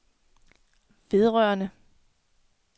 vedrørende